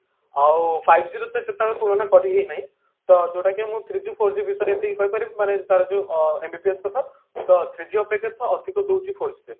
ଆଉ five G ର ସେ ତାଙ୍କ ତୁଳନା କରିହେଇ ନାହିଁ ତ ଯୋଉଟା କି ମୁଁ three G four G ବିଷୟରେ ଏତିକି କହି ପାରିବି ମାନେ ତାର ଯୋଉ ଅ MBPS କଥା ତ three G ଅପେକ୍ଷା ତ ଅଧିକ ଦଉଛି four G ଦଉଛି